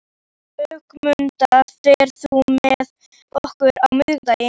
Ögmunda, ferð þú með okkur á miðvikudaginn?